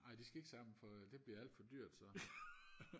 ej de skal ikke samle på det bliver alt for dyrt så